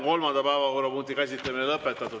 Kolmanda päevakorrapunkti käsitlemine on lõpetatud.